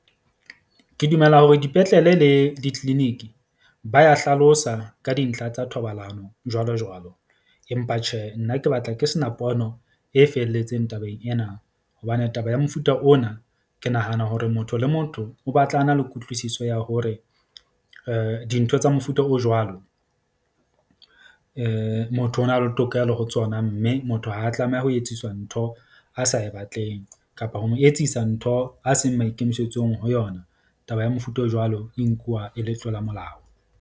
Ke dumela hore dipetlele le di-clinic ba ya hlalosa ka dintlha tsa thobalano, jwalo jwalo. Empa tjhe nna ke batla ke sena pono e felletseng tabeng ena. Hobane taba ya mofuta ona ke nahana hore motho le motho o batla a na le kutlwisiso ya hore dintho tsa mofuta o jwalo, motho o na le tokelo ho tsona mme motho ha a tlameha ho etsiswa ntho a sa e batleng, kapa ho mo etsisa ntho a seng maikemisetsong ho yona. Taba ya mofuta o jwalo e nkuwa e le tlola molao.